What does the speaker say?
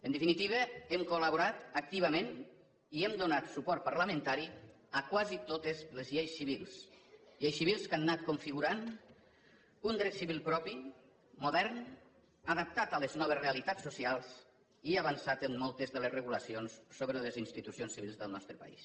en definitiva hem col·laborat activament i hem donat suport parlamentari a quasi totes les lleis civils lleis civils que han anat configurant un dret civil propi modern adaptat a les noves realitats socials i avançat en moltes de les regulacions sobre les institucions civils del nostre país